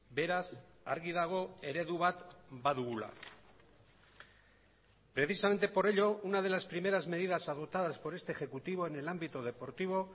beraz argi dago eredu bat badugula precisamente por ello una de las primeras medidas adoptadas por este ejecutivo en el ámbito deportivo